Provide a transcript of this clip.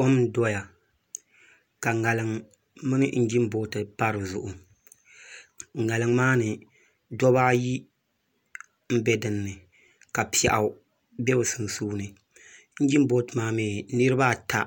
Kom n doya ka ŋarim mini injin booti pa dizuɣu ŋarim maa ni dabba ayi n bɛ dinni ka piɛɣu bɛ bi sunsuuni injin booti maa mii niraba ata